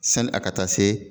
Sani a ka taa se.